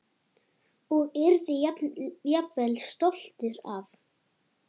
Og yrði jafnvel stoltur af.